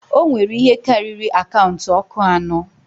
O nwere ihe karịrị akaụntụ ọkụ anọ.